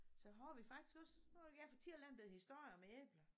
Så har vi faktisk også nu vil jeg fortælle en bette historie om æbler